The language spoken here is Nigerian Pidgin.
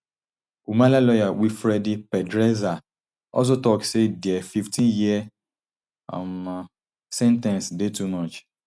humala lawyer wilfredi pedraza also tok say dia fifteenyear um sen ten ce dey too much